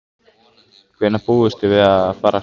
Hvenær búist þið við að fara af stað?